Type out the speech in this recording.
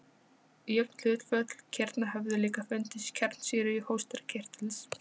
Jöfn hlutföll kirna höfðu líka fundist í kjarnsýru hóstarkirtils.